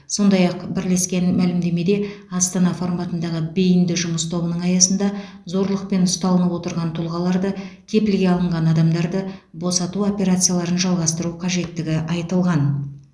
сондай ақ бірлескен мәлімдемеде астана форматындағы бейінді жұмыс тобының аясында зорлықпен ұсталынып отырған тұлғаларды кепілге алынған адамдарды босату операцияларын жалғастыру қажеттігі айтылған